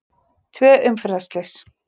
Tvö umferðarslys